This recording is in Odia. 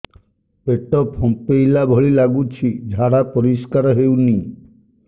ପେଟ ଫମ୍ପେଇଲା ଭଳି ଲାଗୁଛି ଝାଡା ପରିସ୍କାର ହେଉନି